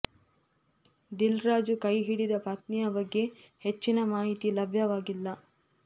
ದಿಲ್ ರಾಜು ಕೈ ಹಿಡಿದ ಪತ್ನಿಯ ಬಗ್ಗೆ ಹೆಚ್ಚಿನ ಮಾಹಿತಿ ಲಭ್ಯವಾಗಿಲ್ಲ